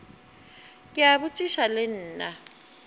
ke a botšiša le nna